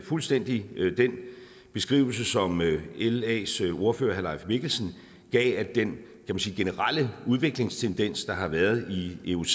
fuldstændig den beskrivelse som las ordfører herre leif mikkelsen gav af den generelle udviklingstendens der har været i ioc